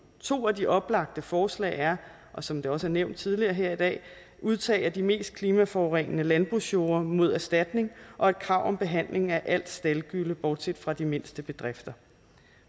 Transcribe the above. to af de oplagte forslag er som det også er nævnt tidligere her i dag udtag af de mest klimaforurenende landbrugsjorde mod erstatning og et krav om behandling af al staldgylle bortset fra de mindste bedrifter